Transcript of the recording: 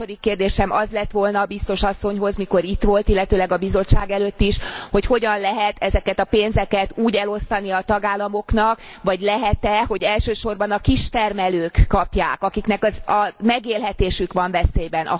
A második kérdésem az lett volna biztos asszonyhoz mikor itt volt, illetőleg a Bizottság előtt is, hogy hogyan lehet ezeket a pénzeket úgy elosztani a tagállamoknak, vagy lehet e, hogy elsősorban a kistermelők kapják, akiknek a megélhetésük van veszélyben.